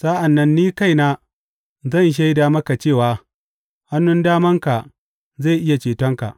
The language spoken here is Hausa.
Sa’an nan ni kaina zan shaida maka cewa hannun damanka zai iya cetonka.